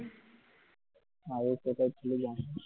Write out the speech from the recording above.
আগে কোথায় ছিলি জানাস।